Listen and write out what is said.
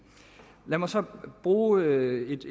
lad mig så bruge et